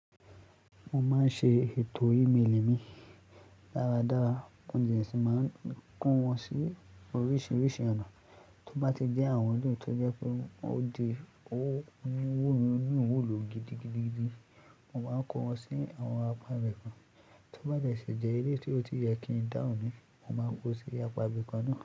Mo máa ń ṣe ètò email mi dáradára, kànjì rẹ̀ sì máa ń kún wọn sí oríṣiríṣi ọ̀nà. Tó bá ti jẹ́ àwọn ọdún tó jẹ́ pé ó di oníwòlò gidigidi, mo máa kọ́ wọn sí àwọn apá ibìkan. Tó bá jẹ́ ṣèjẹ́ eléyi tí ó ti jẹ́ kí ń dáhùn ni, mo máa kó o sí apá ibìkan náà.